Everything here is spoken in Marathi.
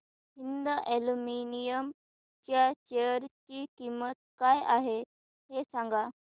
हिंद अॅल्युमिनियम च्या शेअर ची किंमत काय आहे हे सांगा